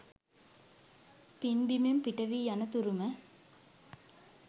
පින්බිමෙන් පිටවී යන තුරුම